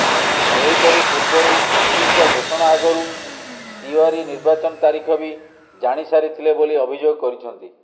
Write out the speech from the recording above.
ସେହିପରି ପୂର୍ବରୁ ଇସିଙ୍କ ଘୋଷଣା ଆଗରୁ ତିୱାରୀ ନିର୍ବାଚନ ତାରିଖ ବି ଜାଣି ସାରିଥିଲେ ବୋଲି ଅଭିଯୋଗ କରିଛନ୍ତି